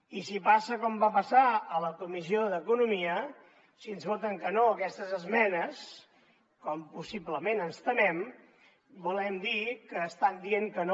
i si passa com va passar a la comissió d’economia si ens voten que no a aquestes esmenes com possiblement ens temem volen dir que estan dient que no